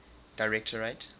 directorate